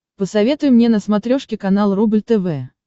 посоветуй мне на смотрешке канал рубль тв